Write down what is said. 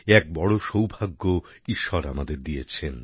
এ এক বড় সৌভাগ্য ঈশ্বর আমাদের দিয়েছেন